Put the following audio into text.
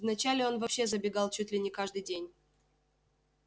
вначале он вообще забегал чуть ли не каждый день